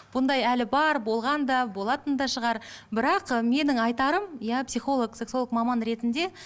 бұндай әлі бар болған да болатын да шығар бірақ ы менің айтарым иә психолог сексолог маман ретінде